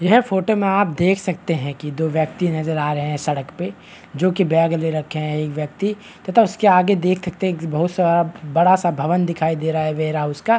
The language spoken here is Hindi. यह फोटो में आप देख है कि दो व्यक्ति नज़र आ रहे है सड़क पे जो कि बैग ले रखे है एक व्यक्ति तथा देख सकते है उसके आगे देख सकते है एक बड़ा सा भवन दिखाई दे रहा है।